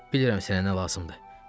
Bilirəm sənə nə lazımdı.